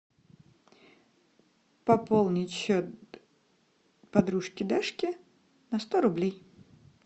пополнить счет подружки дашки на сто рублей